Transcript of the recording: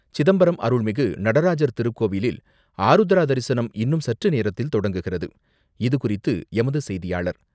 சிதம்பரம் அருள்மிகு நடராஜர் திருக்கோவிலில் ஆருத்ரா தரிசனம் இன்னும் சற்று நேரத்தில் தொடங்குகிறது, இது குறித்து எமது செய்தியாளர்,